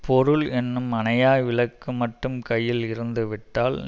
பொருள் என்னும் அணையா விளக்கு மட்டும் கையில் இருந்து விட்டால்